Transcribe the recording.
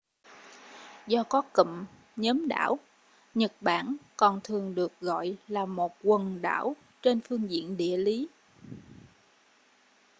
do có cụm/nhóm đảo nhật bản còn thường được gọi là một quần đảo trên phương diện địa lý